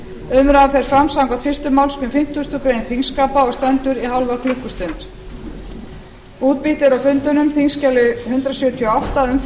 umræðan fer fram samkvæmt fyrstu málsgrein fimmtugustu grein þingskapa og stendur í hálfa klukkustund